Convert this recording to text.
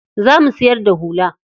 Za mu siyar da hula.